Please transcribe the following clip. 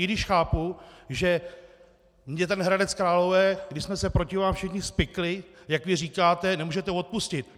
I když chápu, že mi ten Hradec Králové, když jsme se proti vám všichni spikli, jak vy říkáte, nemůžete odpustit.